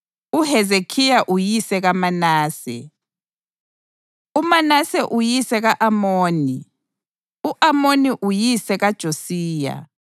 uHezekhiya uyise kaManase, uManase uyise ka-Amoni, u-Amoni uyise kaJosiya,